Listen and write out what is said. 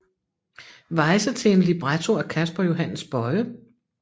Weyse til en libretto af Casper Johannes Boye